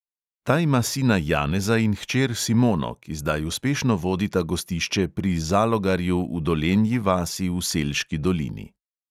Ta ima sina janeza in hčer simono, ki zdaj uspešno vodita gostišče pri zalogarju v dolenji vasi v selški dolini.